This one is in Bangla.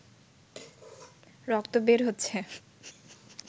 রক্ত বের হচ্ছে